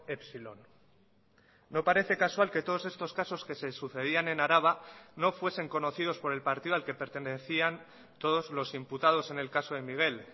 epsilon no parece casual que todos estos casos que se sucedían en araba no fuesen conocidos por el partido al que pertenecían todos los imputados en el caso de miguel